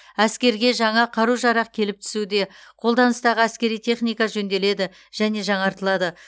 әскерге жаңа қару жарақ келіп түсуде қолданыстағы әскери техника жөнделеді және жаңартылады